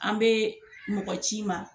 An bɛ mɔgɔ ci i ma.